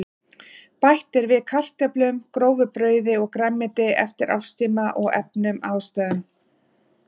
Bætt er við kartöflum, grófu brauði og grænmeti eftir árstíma og efnum og ástæðum.